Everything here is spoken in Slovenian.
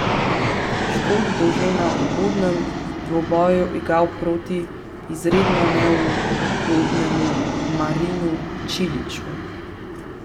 Škot bo že na uvodnem dvoboju igral proti izredno neugodnemu Marinu Čiliću.